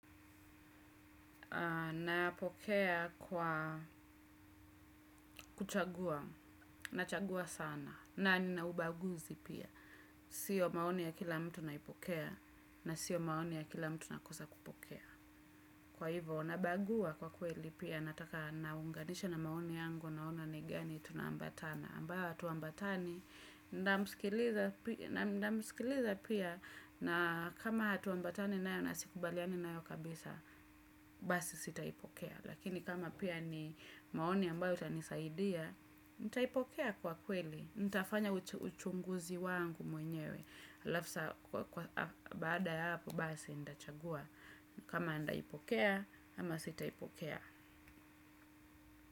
Na pokea kwa kuchagua, na chagua sana, na nina ubaguzi pia. Sio maoni ya kila mtu naipokea, na sio maoni ya kila mtu nakosa kupokea. Kwa hivo, nabagua kwa kweli pia, nataka naunganisha na maoni yangu, naona nigani, tuna ambatana. Ambayo hatuambatani, na msikiliza pia, na kama hatuambatani nayo, nasikubaliani nayo kabisa, basi sitaipokea. Lakini kama pia ni maoni ambayo itanisaidia nitaipokea kwa kweli. Nitafanya uchunguzi wangu mwenyewe alafu sa kwa baada ya hapo basi ntachagua. Kama ndaipokea ama sitaipokea.